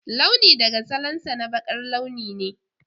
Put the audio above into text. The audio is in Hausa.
Launi daga salansa na baƙar launi ne.